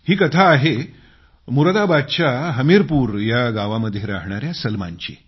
ही कथा आहे मुरादाबादच्या हमीरपूर या गावामध्ये राहणाया सलमानची